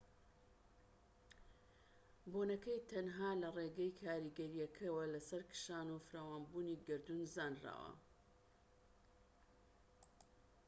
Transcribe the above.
بوونەکەی تەنها لە ڕێگەی کاریگەریەکەیەوە لەسەر کشان و فراوانبوونی گەردوون زانراوە